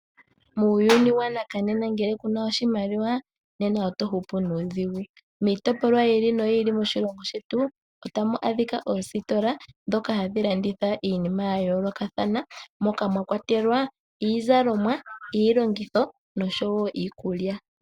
Muuyuni wanakanena ngele kuna oshimaliwa nena oto hupu nuudhigu. Miitopolwa yi ili noyi ili moshilongo shetu otamu adhika oositola ndhoka hadhi landitha iinima ya yoolokathana moka mwa kwatelwa iizalomwa, iilongitho noshowo iikulya.